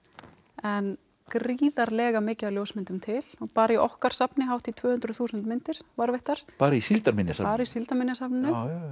en gríðarlega mikið af ljósmyndum til og bara í okkar safni hátt í tvö hundruð þúsund myndir varðveittar bara í Síldarminjasafninu bara í Síldarminjasafninu